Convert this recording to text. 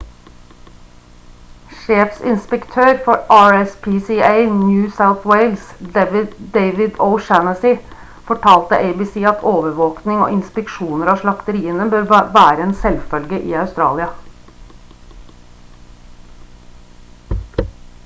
sjefinspektør for rspca new south wales david o'shannessy fortalte abc at overvåkning og inspeksjoner av slakteriene bør være en selvfølge i australia